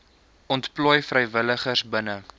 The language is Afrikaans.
ontplooi vrywilligers binne